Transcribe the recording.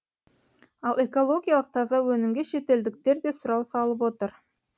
ал экологиялық таза өнімге шетелдіктер де сұрау салып отыр